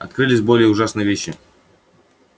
открылись более ужасные вещи